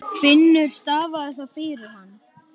Finnur stafaði það fyrir hann.